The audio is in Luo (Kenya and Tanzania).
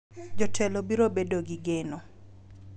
jotelo biro bedo gi geno,